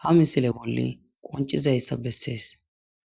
ha misile bolla concisizaysa beses.